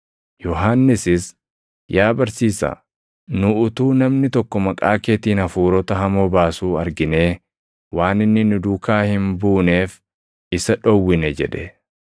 Yohannisis, “Yaa barsiisaa, nu utuu namni tokko maqaa keetiin hafuurota hamoo baasuu arginee waan inni nu duukaa hin buuneef isa dhowwine” jedhe.